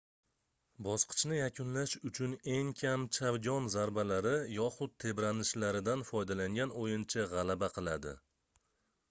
bosqichni yakunlash uchun eng kam chavgon zarbalari yoxud tebranishlaridan foydalangan oʻyinchi gʻalaba qiladi